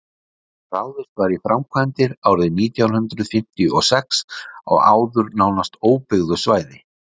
ráðist var í framkvæmdir árið nítján hundrað fimmtíu og sex á áður nánast óbyggðu svæði